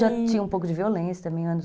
Já tinha um pouco de violência também, anos